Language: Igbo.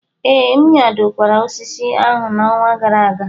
Ee, m nyadokwara osisi ahụ n'ọnwa gara aga.